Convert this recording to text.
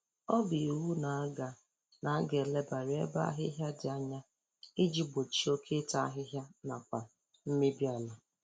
ọ bụ iwu na aga na aga elebara ebe ahịhịa dị anya iji gbochie oke ịta ahịhịa nakwa mmebi ala